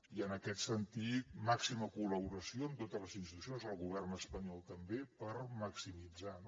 i en aquest sentit màxima col·laboració amb totes les institucions el govern espanyol també per maximitzar no